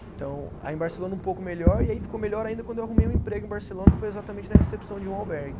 Então, aí em Barcelona um pouco melhor, e aí ficou melhor ainda quando eu arrumei um emprego em Barcelona, que foi exatamente na recepção de um albergue.